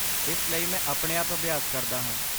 ਇਸ ਲਈ ਮੈਂ ਆਪਣੇ ਆਪ ਅਭਿਆਸ ਕਰਦਾ ਹਾਂ।